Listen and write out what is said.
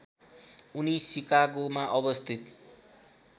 उनी सिकागोमा अवस्थित